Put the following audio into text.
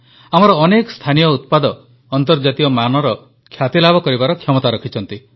ଆମର ଅନେକ ସ୍ଥାନୀୟ ଉତ୍ପାଦ ଅନ୍ତର୍ଜାତୀୟ ମାନର ଖ୍ୟାତିଲାଭ କରିବାର କ୍ଷମତା ରଖିଛନ୍ତି